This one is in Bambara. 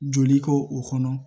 Joli k'o o kɔnɔ